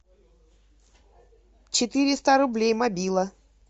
четыреста рублей мобила